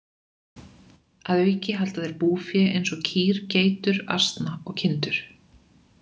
Að auki halda þeir búfé eins og kýr, geitur, asna og kindur.